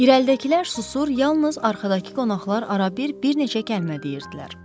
İrəlidəkilər susur, yalnız arxadakı qonaqlar arabir bir neçə kəlmə deyirdilər.